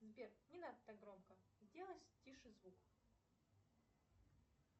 сбер не надо так громко сделай тише звук